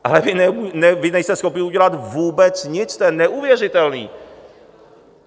Ale vy nejste schopni udělat vůbec nic, to je neuvěřitelný.